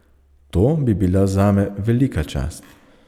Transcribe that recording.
To bi bila zame velika čast.